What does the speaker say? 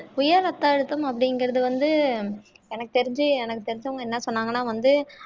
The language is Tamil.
உயர் ரத்த அழுத்தம் அப்படிங்கறது வந்து எனக்குத் தெரிஞ்சு எனக்குத் தெரிஞ்சவங்க என்ன சொன்னாங்கன்னா வந்து